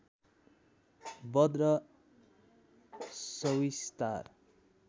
बध र सविस्तार